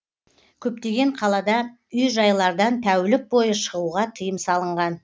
көптеген қалада үй жайлардан тәулік бойы шығуға тыйым салынған